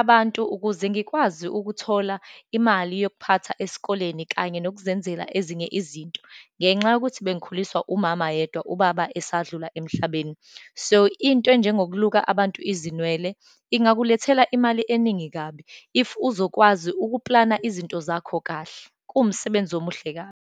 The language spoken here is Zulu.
abantu, ukuze ngikwazi ukuthola imali yokuphatha esikoleni, kanye yokuzenzela ezinye izinto, ngenxa yokuthi bengikhuliswa umama yedwa, ubaba esadlula emhlabeni. So, into enjengokuluka abantu izinwele, ingakulethela imali eningi kabi if uzokwazi ukuplana izinto zakho kahle, kuwumsebenzi omuhle kabi.